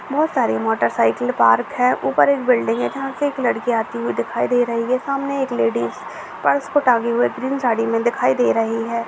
बहुत सारे motorcycle park है ऊपर एक बिल्डिंग है जहाँ से एक लड़की आते हुए दिखाई दे रही है सामने एक लेडीज पर्स को टांगे हुए ग्रीन साड़ी में दिखाई दे रही है।